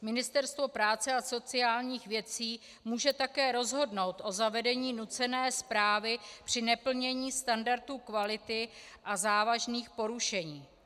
Ministerstvo práce a sociálních věcí může také rozhodnout o zavedení nucené správy při neplnění standardů kvality a závažných porušení.